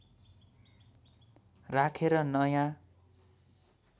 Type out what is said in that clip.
राखेर नयाँ